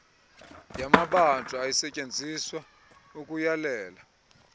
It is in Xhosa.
yamabanjwa ayisetyenziswa ukuyalela